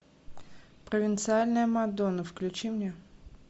провинциальная мадонна включи мне